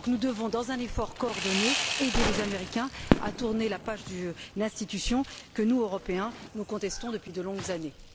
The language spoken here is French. Nous devons donc, dans un effort coordonné, aider les Américains à tourner la page d'une institution que nous, Européens, contestons depuis de longues années.